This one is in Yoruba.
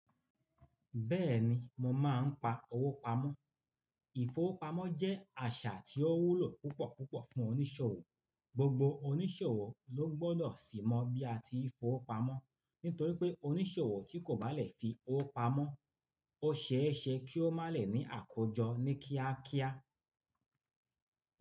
Bẹ́ẹ̀ni mo máa ń pa owó pamọ́. Ìfowópamọ́ jẹ́ àṣà tí ó wúlò púpọ̀púpọ̀ fún oníṣòwò. Gbogbo oníṣòwò ló gbọ́dọ̀ sì mọ bí a ti ń fowó pamọ́. Nítorí pé oníṣòwò tí kò bá lè fi owó pamọ́, ó ṣeéṣe kí ó má lè ní àkójọ ní kíákíá.